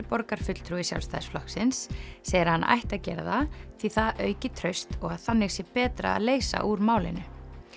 borgarfulltrúi Sjálfstæðisflokksins segir að hann ætti að gera það því það auki traust og að þannig sé betra að leysa úr málinu